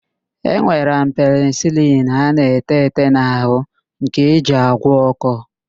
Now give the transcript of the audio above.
E nwere penịsịlịn a na-ete ete n'arụ nke eji agwọ ọ́kọ́.